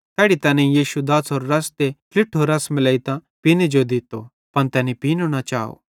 तैड़ी तैनेईं यीशु दाछ़रो रस ते ट्लिठो रस मिलेइतां पीने जेई दित्तो पन तैनी पीनी न चाव